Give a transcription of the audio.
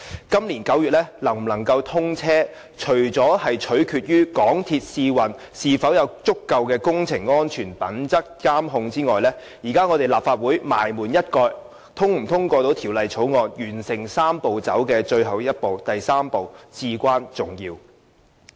今年9月高鐵能否通車，除了取決於港鐵公司試運是否有足夠的工程安全品質監控外，立法會最後能否通過《條例草案》，完成"三步走"的最後一步，至關重要。